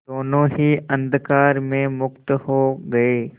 दोेनों ही अंधकार में मुक्त हो गए